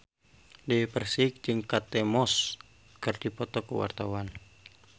Dewi Persik jeung Kate Moss keur dipoto ku wartawan